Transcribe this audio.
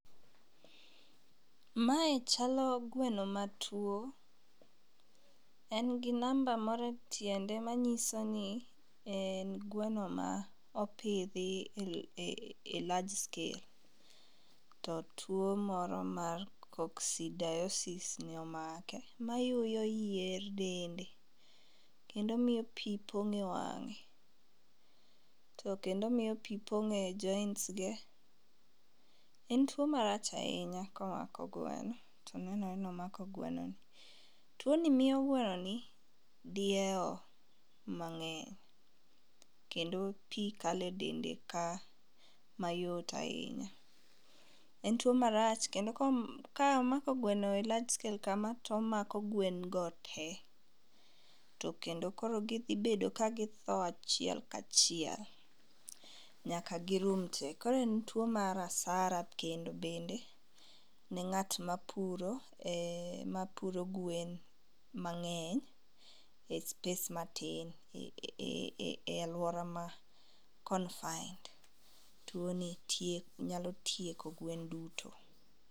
Mae chalo gweno matuo. Engi namba moro e tiende manyisoni en gweno maopidhi e large scale to tuo moro mar koksidiosis nomake mayuyo yier dende kendo miyo pii pong'e wang'e to kendo miyo pii pong'e joints ge. En tuo marach ainya komako gweno to nenore nomako gweno. Tuoni miyo gwenoni dieo mang'eny kendo pii kale dende ka mayot ainya. En tuo marach kendo komako gweno e large scale kamaa tomako gwengo tee. To kendo koro gidhibedo kagitho ahiel kachiel nyaka girum tee koro en tuo mar hasara kendo bende ne ng'at mapuro ee gwen mang'eny e space matin e aluora ma confined. Tuoni tie nyalo tieko gwen duto.